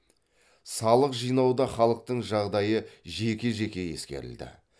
салық жинауда халықтың жағдайы жеке жеке ескерілді